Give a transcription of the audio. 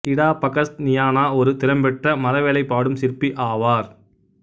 இடா பகஸ் நியானா ஒரு திறம்பெற்ற மரவேலைப்பாடும் சிற்பி ஆவார்